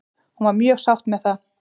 Hún var mjög sátt með það.